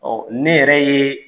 ne yɛrɛ ye